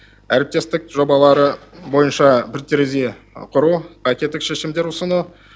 әріптестік жобалары бойынша бір терезе құру шешімдер ұсыну